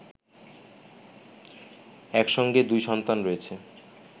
একসঙ্গে দুই সন্তান রয়েছে